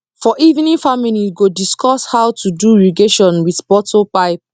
for evening family go discuss how to do irrigation with bottle pipe